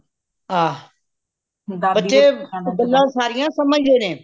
ਆਹ ਬਚੇ ਗੱਲਾਂ ਸਾਰੀਆਂ ਸਮਝਦੇ ਨੇ